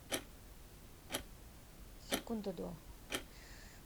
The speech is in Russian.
секунда до